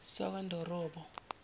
sakwandorobo